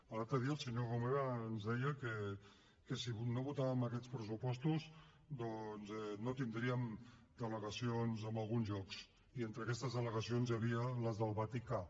l’altre dia el senyor romeva ens deia que si no votàvem aquests pressupostos doncs no tindríem delegacions en alguns llocs i entre aquestes delegacions hi havia les del vaticà